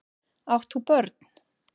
Átt þú börn?